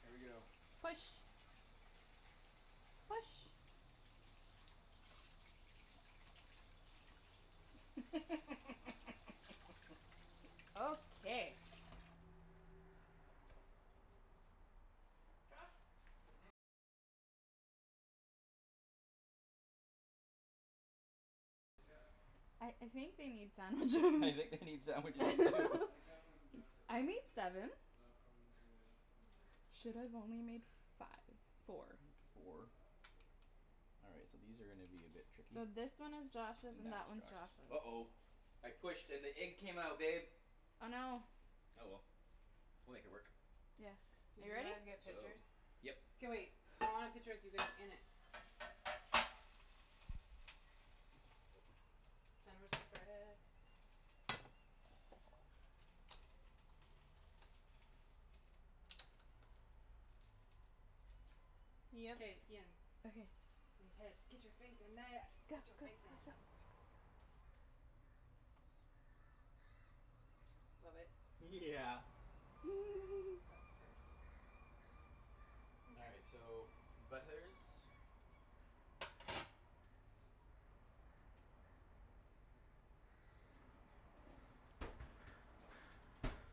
Here we go. Push. Push. Okay. Josh. I I think they need sandwiches You I get think anything? they need Nope, sandwiches too I got something from Jennifer I earlier made seven. but not from anybody else. This is what I said. Should've only made five four. Four Uh great. Yeah. All right so these are gonna be a bit tricky. And So this one is that's Josh's and that one's Josh. Josh's. Uh oh I pushed and the egg came out babe Oh no. Oh well, we'll make it work. Yes, Did you you ready? guys get So pictures? Yep K wait, I want a picture of you guys in it. Sandwich spread. K, Ian. Okay. And Ped. Get your face in there. Go go Get your face go go. in. Love it. Yeah That's so cool. All Mkay. right so butlers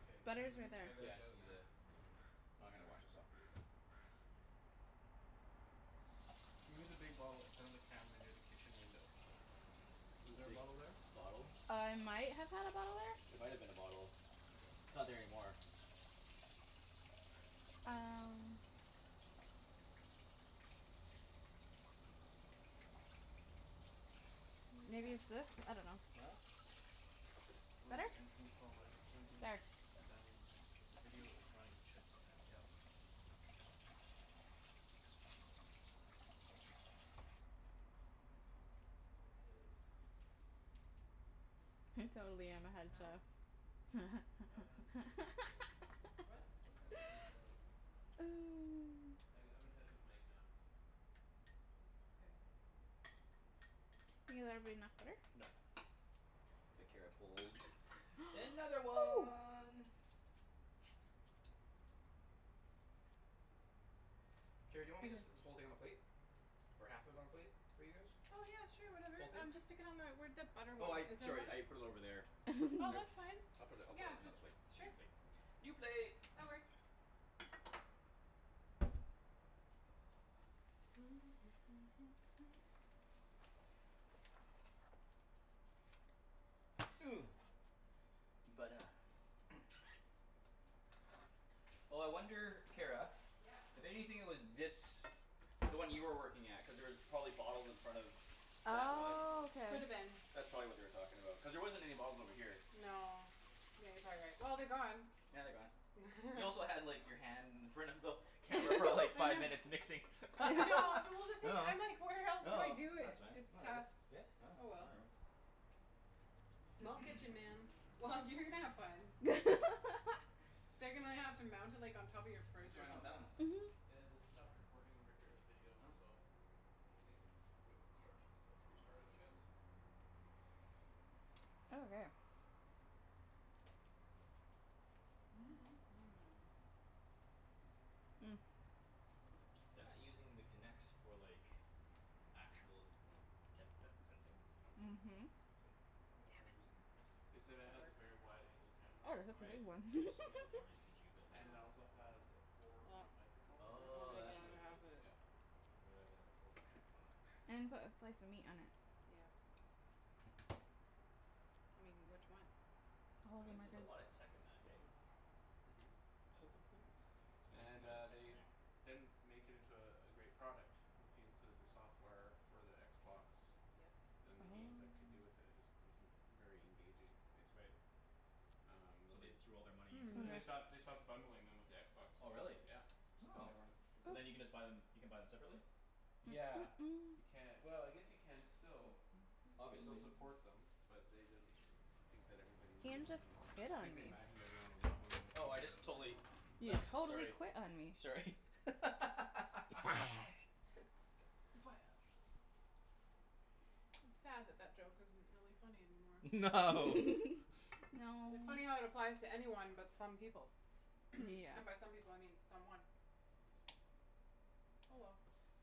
Okay Butter's right there. I got Yeah I just that need the now. oh I'm gonna wash this off with your "Can you move the big bottle in front of the camera near the kitchen window?" Was The there a big bottle there? bottle? Uh I might have had a bottle there. There might've been a bottle. Okay. It's not there anymore. All right. Um. New Maybe it's text. this? I dunno. No? "One at Better? the entrance hallway pointing" There. "Dining so the video is running. Check the timer." Yeah I'll check. Doesn't look like it is. I totally am a head No? chef. I'm gonna just text him a photo. What? I'm just gonna text him a photo. I g- I'm in touch with Mike now. Okay. Ian there'll be enough butter? Nope The Kara pulled another one. Kara, do you want me just put Okay. this whole thing on a plate? Or half of i- on a plate for you guys? Oh yeah sure whatever. Whole thing? Um just stick it on my where that butter Oh I went. Is it sorry I running? put it over there. I Oh that's fine, I'll put it I'll put it on another plate. just sure New plate. New plate That works. Oh I wonder Kara. Yeah. I bet you anything it was this The one you were working at cuz there was probably bottles in front of That one Oh K. Coulda been. That's probably what they were talking about cuz there wasn't any bottles over here. No yeah you're probably right. Well they're gone. Yeah they're gone. You also had like your hand in front of the Camera for like I five know. minutes mixing. I know well No the thing no I'm like where else do I do that's it? fine It's whatever tough. yeah no Oh well. whatever. Small kitchen, man. Well, you're gonna have fun. They're gonna have to mount it like on top of your What's fridge or going on with something. that one? Mhm. Yeah they'd stopped recording over here, the video Oh so. They say uh wait instructions to restart it I guess. Okay. They're not using the Kinects for like Actual depth se- sensing? Nope. Mhm. I wonder why Damn they're it. using the Kinects They then? said it That has a works. very wide angle camera Oh it's on a Right it. one but there's so many other cameras you can use that have And it it Oh also has a four Well, point microphone we'll in Oh there make is the that's the what other it is. half of thing. it. Yeah. Didn't realize they had a four point microphone in it. And put a slice of meat on it. Yeah. I mean, which one? I'll That hold your means there's a marker. lot of tech in that This eh? one. Mhm. It's And amazing amount uh of tech in they there. didn't make it into uh a great product if you include the software for the Xbox. Yep. Then the games that could do with it it just wasn't very engaging, basically Right Um no So the they threw all their money in there. So they stopped they Okay. stopped bundling them with the Xbox Oh really Ones, yeah. Just cuz Oh they weren't so then you can Oops. just buy them you can buy them separately? Yeah you ca- well I guess you can still. They still Obviously. support them but they didn't Think that everybody needed Ian one just anymore. quit on Think they me. imagined everyone would love 'em Oh I including just the totally You left totally sorry quit on me. sorry You're fired. You're fired. It's sad that that joke isn't really funny anymore. No. No It funny how it applies to anyone but some people. Yeah. And by some people I mean someone. Oh well.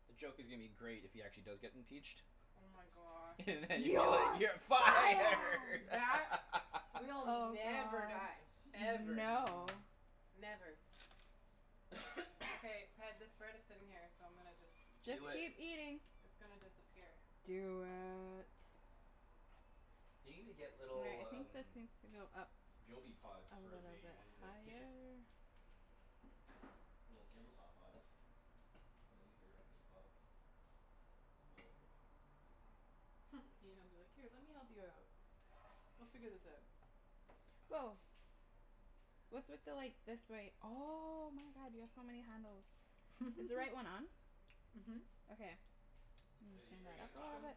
The joke is gonna be great if he actually does get impeached Oh my gosh. And then you're like, You're "You're fired" fired. That will never die. Ever. no. Never. Okay, Ped, this bread is sitting here so I'm gonna just Just just Do it keep eating. It's gonna disappear. Do it. They need to get little I um think this needs to go up a little Joby pods for the bit ones in the kitchen. higher. Little table top pods. Then at least they're it's above it's above everything. Mhm. Ian'll be like, "Here, let me help you out." We'll figure this out. Woah. What's with the like this wait oh my god you have so many handles. Is the right one on? Mhm. Okay, I'm Uh are gonna you turn are you that gonna up a rock little 'em? bit.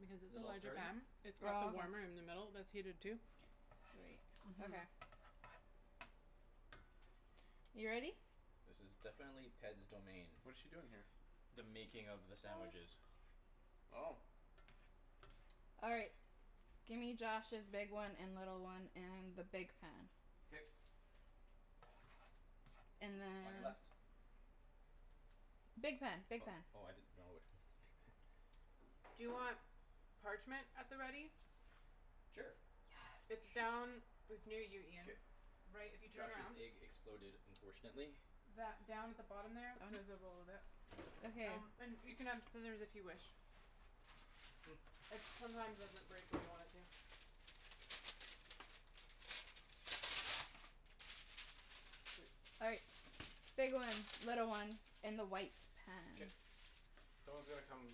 Because Is it's it a all larger starting? pan. It's got the Oh warmer in the okay. middle that's heated too. Sweet, Mhm. okay. You ready? This is definitely Ped's domain. What is she doing here? The making of the sandwiches. Oh. All right, gimme Josh's big one and little one and the big pan. K And then On your left Big pan, big Oh pan. oh I didn't know which one was the big pan. Do you want parchment at the ready? Sure It's Shoot Yes. down It's near you K. Ian, right if you turn Josh's around. egg exploded unfortunately. That down at the bottom there, there's On? a roll of it. Okay. Um and you can have scissors if you wish. It sometimes doesn't break where you want it to. Mkay. All right. Big one, little one in the white K pan. Someone's gonna come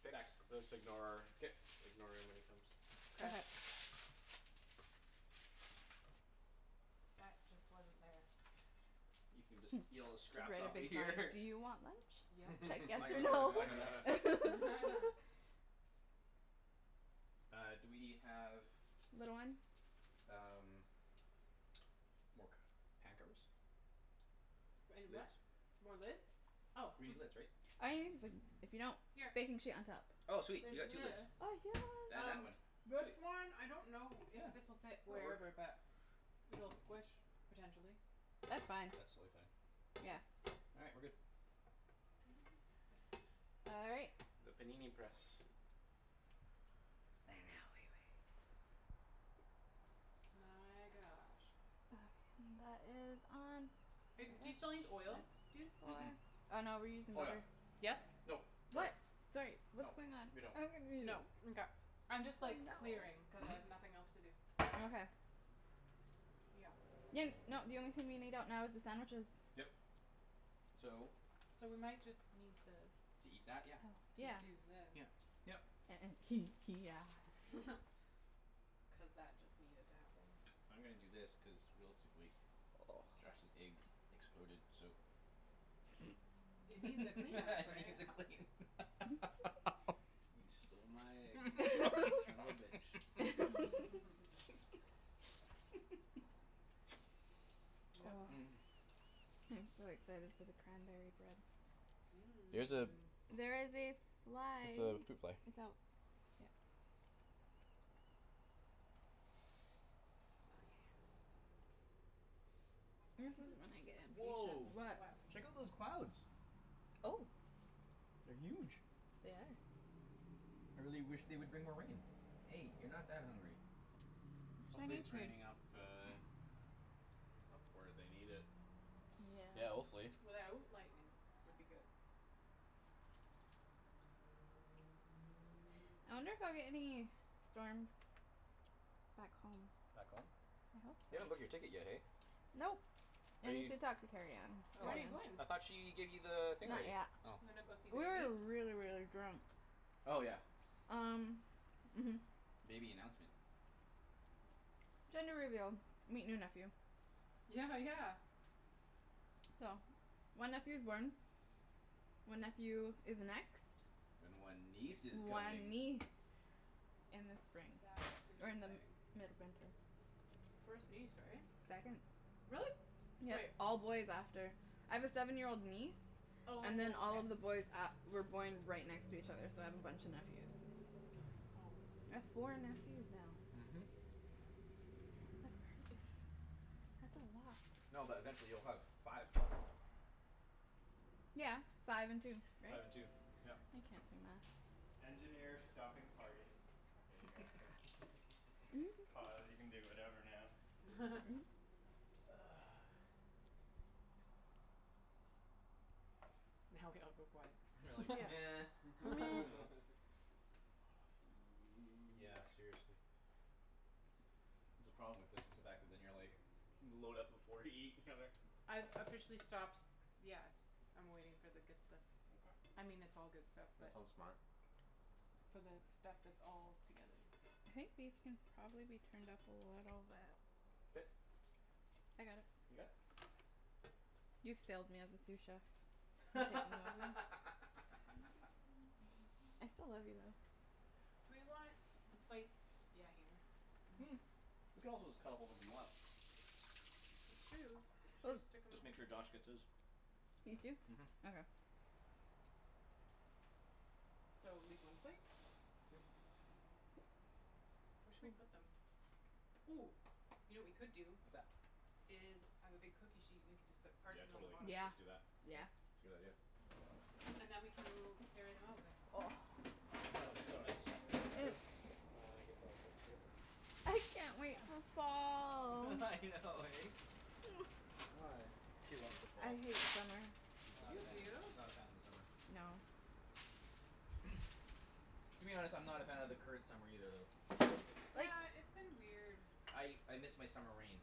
fix this ignore K ignore him when he comes. K. Okay. That just wasn't there. You can just eat all the scraps Write off a of big here sign: "Do you want lunch?" Should Yep. I guess On or your no? on on your left Uh do we have Little one? um More c- pan covers? And a what? Lids? More lids? Oh We need lids right? Oh you can just like if you don't. Here. Baking sheet on top. Oh sweet There's you got two lids this. Oh yes. And that Um one, this sweet one I don't know if Yeah this'll fit that'll work wherever but It'll squish potentially. That's fine. That's totally fine. Yeah? Yeah. All right, we're good. All right. The panini press. And now we wait. My gosh. Um that is on. Do you still need oil, That's dudes? Mm- mm. four. Oh no we're using Oh yeah. butter. Yes? Nope, sorry. What? Sorry No, what's going on? we don't I'm confused. No mkay I'm I just like know. clearing cuz I Mhm have nothing else to do. Okay. Yeah. Ian no the only thing we need out now is the sandwiches. Yep so So we might just need this To eat that? Oh Yeah. To do yes. this. Yeah. Yep. yeah Cuz that just needed to happen. I'm gonna do this cuz realistically Josh's egg exploded so It needs a cleanup right? needs a clean You stole my egg you son of a bitch. Yep. I'm so excited for the cranberry bread. There's a There is a fly. it's a fruit fly. It's out. Yeah. This is when I get impatient. Woah What? What? check out those clouds Oh. They're huge. They are. I really wish they would bring more rain. Hey you're not that hungry. It's Hopefully Chinese it's fruit. raining up uh Up where they need it. Yeah. Yeah hopefully. Without lightning would be good. I'll get any storms Back home. Back home? I hope You so. haven't booked your ticket yet hey? Nope, Are I need you to talk to Kerrianne. When are you going? I thought she gave you the thing Not already? yet. Oh Gonna go see We baby? were really really drunk. Oh yeah Um mhm. Baby announcement Gender reveal. Meet new nephew. Yeah yeah. So, one nephew's born. One nephew is next. And one niece is coming One niece in the spring. That is Or in the exciting. mid-winter. First niece right? Second. Really? Yeah, Wait. all boys after. I have a seven year old niece Oh And then all okay. of the boys a- were born right next to each other so I have a bunch of nephews. I have four nephews now. Mhm. That's crazy. That's a lot. No but eventually you'll have five. Yeah, five and two right? Five I and two. Yeah can't do math. Now we all go quiet. We're like nah Aw food. Yeah seriously. That's the problem with this it's the fact that then you're like load up before you eat I've officially stops. Yeah, I'm waiting for the good stuff. I mean it's all good stuff That's but so smart. For the stuff that's all together. I think these can probably be turned up a little bit. K I got it. You got it? You failed me as a sous chef. I'm taking over. I still love you though. Do we want the plates yeah here. We could also just cut a whole bunch of 'em up. True, should I stick 'em Just make sure Josh gets his. These two? Mhm Okay. So leave one plate? Yeah. Yeah Where should we put them? Ooh, you know what we could do What's that? Is I have a big cookie sheet and we can just put Yeah parchment on the totally. bottom. Let's Yeah, just do that. yeah. K. It's a good idea. And then we can mo- carry them over. Oh so nice. Here we go. It's And I guess I'll set the table. I can't wait Yeah. for fall. I know eh? Why? She loves the fall I hate summer. She's Oh not a You fan do? of she's man. not a fan of the summer. No. To be honest I'm not a fan of the current summer either though. Like. Yeah, it's been weird. I I miss my summer rain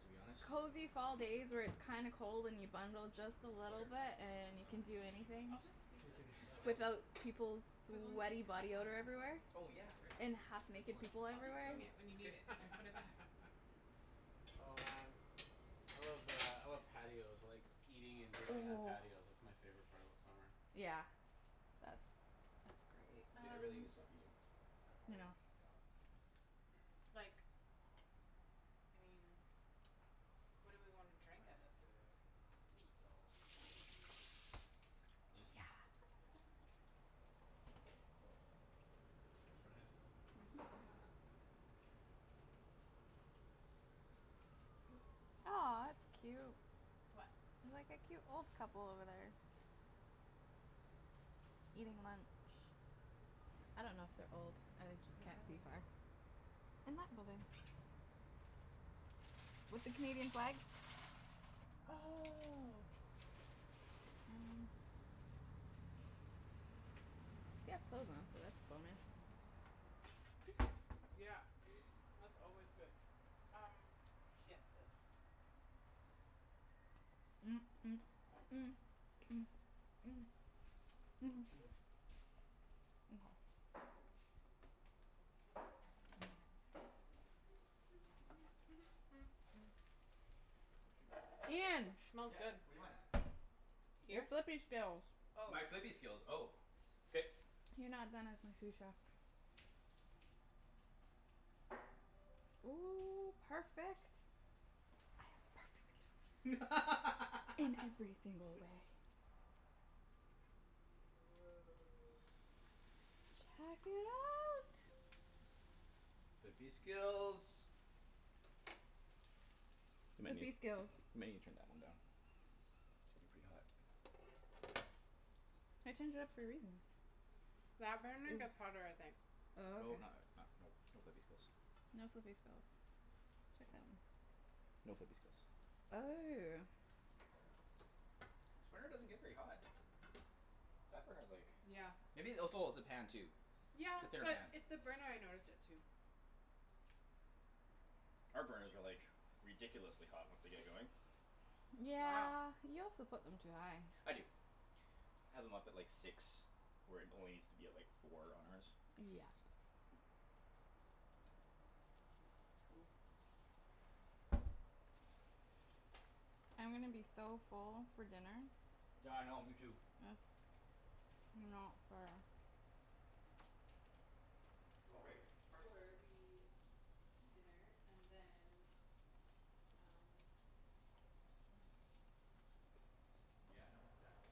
to be honest. Cozy fall days where it's kinda cold and you bundle just a Over little here bit and just you I don't can think do we need any of this anything. I'll right just here leave this No and I then don't think just Without peoples' Cuz we'll need sweaty to cut body on odor that. everywhere. Oh yeah right And half Good naked point. people I'll just So everywhere. bring it when you need K it and K put it back. Oh man I love uh I love patios like eating and drinking on patios. That's my favorite part about summer. Yeah. That's K that's great. I really Um gotta stop eating. I know. Like I mean What do we wanna drink out of? These. Yes. Oops. Tryin' to just Mhm. Yeah. Aw it's cute. What? Like a cute old couple over there. Eating lunch. I don't know if they're old. I like just Where can't are they? see far. In that building. With the Canadian flag? Oh They have clothes on, so that's coolness. Yeah, that's always good. Um. Yes, this. Oh shoot Ian. Smells Yeah good. what do you want? Your Here? flippy skills. Oh. My flippy skills oh K You're not done as my sous chef. Oh perfect. I am perfect. In every single way. Woah. Check it out. Flippy skills You might Flippy need you skills. might need to turn that one down. It's getting pretty hot I turned it up for a reason. That burner gets hotter I think. Oh Oh okay. not like not nope no flippy skills. No flippy skills. Check that one. No flippy skills. Oh. This burner doesn't get very hot. That burner's like Yeah. Maybe oh it's oh it's the pan too. Yeah It's a thinner but pan. it the burner I notice it too. Our burners are like ridiculously hot once they get going. Wow. Yeah. You also put them too high. I do. I had them up at like six where it only needs to be four on ours. Yeah. Cool. I'm gonna be Nice. so full for dinner. Yeah I know me too. Yes, you know for uh Oh Or right, parking. or we Eat dinner and then Um if we have a bunch left then we don't cook Yeah tomorrow. no exactly.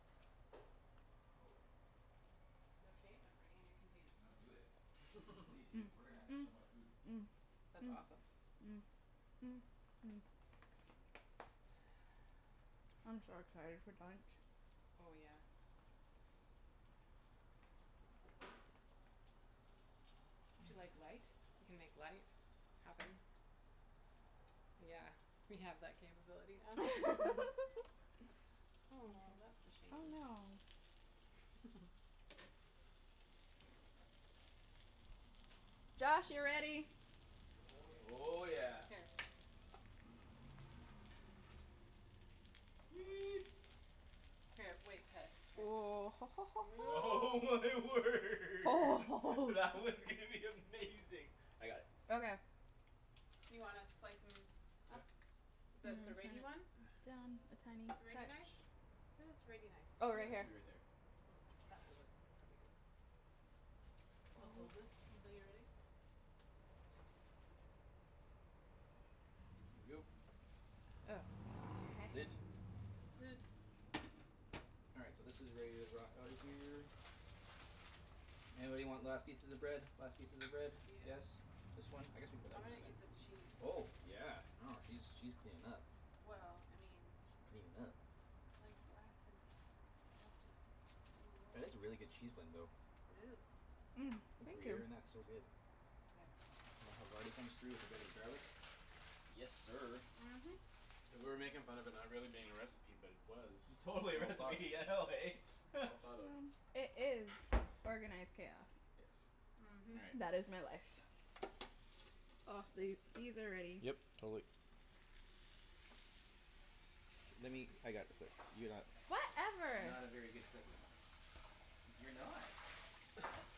Totally. Mhm mhm mhm. No shame, I'm bringing a container. No do it please do we're gonna have so much food. That's awesome. I'm so excited for dunch Oh yeah. Would you like light? We can make light happen. Yeah, we have that capability now. Aw, that's a Oh shame. no. Josh, you're ready. Oh yeah. Oh yeah. Here. Sweet. Sweet. Here, wait, Ped, here. Oh my word that one's gonna be amazing. I got it. Okay You wanna slice 'em Yeah up? The I'm gonna serrate-y turn one? it down a tiny serrate-y knife? touch. Where's the serrate-y knife? I Oh right got here. two right there. That will work probably good. I'll just hold this until you're ready. Here we go. Oh. Lid. Lid All right so this is where you rock outta here. Anybody want last pieces of bread? Last pieces of bread? Yeah Yes? This one? I guess we can put I'm that gonna one in eat there. this cheese. Oh yeah. I know she's she's cleanin' up Well I mean Cleanin' up. It's like blasphemy. You have to do That is it. a really good cheese blend though. It is. Think Thank you gruyere in that's so good. There And the havarti comes through with a bit of garlic. Yes sir. Mhm And we're making fun of it not being a recipe but it was. We Totally a all thought recipe I know eh? Well thought of. Um it is organized chaos. Yes. Mhm All right. That is my life. Aw th- these are ready. Yep, totally. Lemme I got it you're not You're Whatever. not a very good flipper. You're not.